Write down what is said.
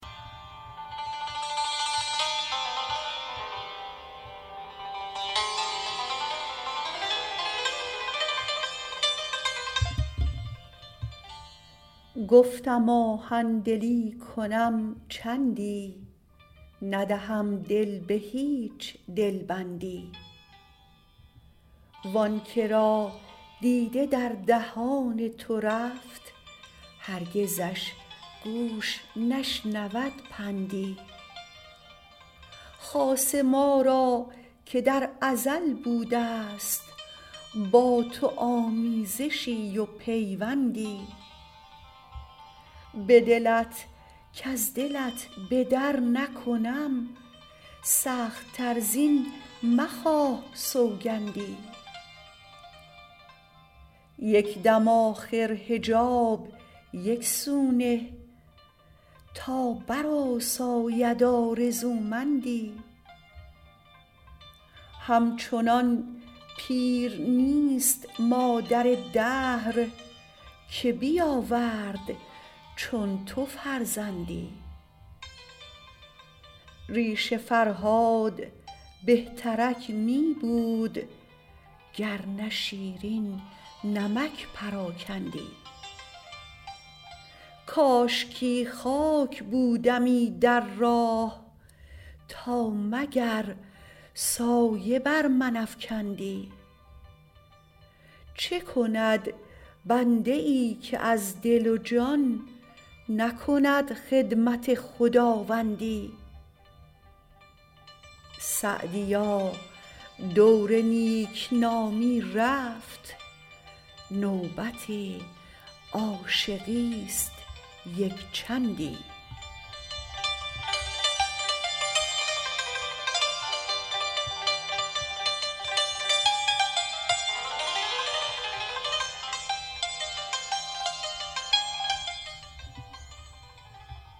گفتم آهن دلی کنم چندی ندهم دل به هیچ دل بندی وآن که را دیده در دهان تو رفت هرگزش گوش نشنود پندی خاصه ما را که در ازل بوده است با تو آمیزشی و پیوندی به دلت کز دلت به در نکنم سخت تر زین مخواه سوگندی یک دم آخر حجاب یک سو نه تا برآساید آرزومندی همچنان پیر نیست مادر دهر که بیاورد چون تو فرزندی ریش فرهاد بهترک می بود گر نه شیرین نمک پراکندی کاشکی خاک بودمی در راه تا مگر سایه بر من افکندی چه کند بنده ای که از دل و جان نکند خدمت خداوندی سعدیا دور نیک نامی رفت نوبت عاشقی است یک چندی